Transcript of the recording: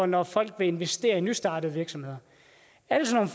når folk ville investere i nystartede virksomheder alle sådan